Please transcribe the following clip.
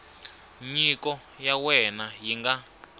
nyiko ya wena yi nga